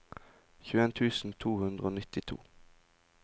tjueen tusen to hundre og nittito